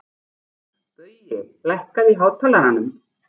Baui, lækkaðu í hátalaranum.